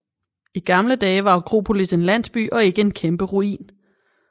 I gamle dage var Akropolis en landsby og ikke en kæmpe ruin